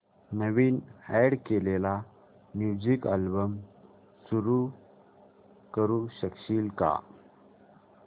नवीन add केलेला music album सुरू करू शकशील का